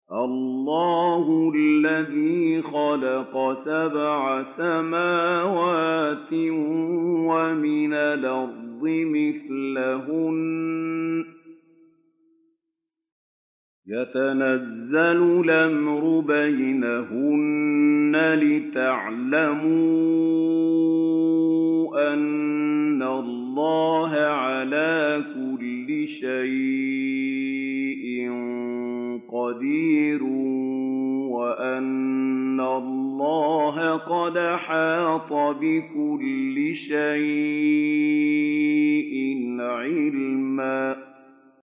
اللَّهُ الَّذِي خَلَقَ سَبْعَ سَمَاوَاتٍ وَمِنَ الْأَرْضِ مِثْلَهُنَّ يَتَنَزَّلُ الْأَمْرُ بَيْنَهُنَّ لِتَعْلَمُوا أَنَّ اللَّهَ عَلَىٰ كُلِّ شَيْءٍ قَدِيرٌ وَأَنَّ اللَّهَ قَدْ أَحَاطَ بِكُلِّ شَيْءٍ عِلْمًا